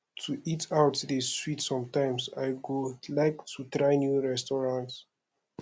to eat out dey sweet sometimes i go like try new restaurants